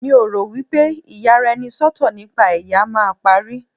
mi o ro wipe iyaraenisọtọ nipa ẹyà ma parí